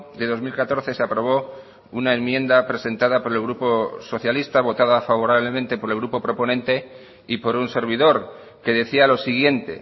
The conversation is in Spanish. de dos mil catorce se aprobó una enmienda presentada por el grupo socialista votada favorablemente por el grupo proponente y por un servidor que decía lo siguiente